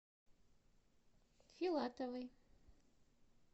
филатовой